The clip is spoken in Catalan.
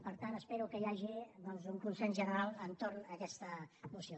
per tant espero que hi hagi un consens general entorn d’aquesta moció